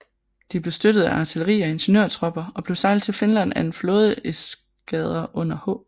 De blev støttet af artilleri og ingeniørtropper og blev sejlet til Finland af en flådeeskadre under H